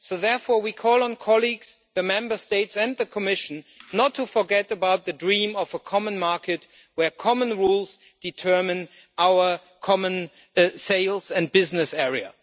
So therefore, we call on colleagues, the Member States and the Commission not to forget about the dream of a common market where common rules determine our common sales and business area.